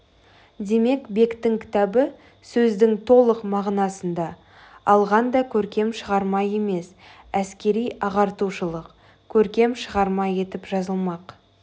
демек бектің кітабы сөздің толық мағынасында алғанда көркем шығарма емес әскери ағартушылық көркем шығарма етіп жазылмақ